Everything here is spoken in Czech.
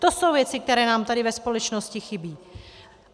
To jsou věci, které nám tady ve společnosti chybí.